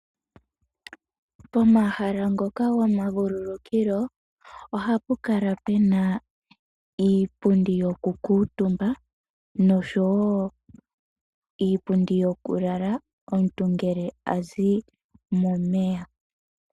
Pomahala ngoka gomavululukilo ohapu kala pena iipundi yoku kuutumba nosho wo iipundi yokulala omuntu ngele azi momeya.